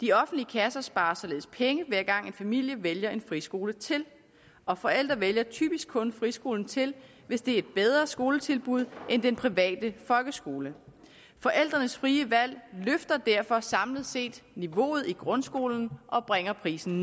de offentlige kasser sparer således penge hver gang en familie vælger en friskole til og forældre vælger typisk kun friskolen til hvis det er et bedre skoletilbud end den private folkeskole forældrenes frie valg løfter derfor samlet set niveauet i grundskolen og bringer prisen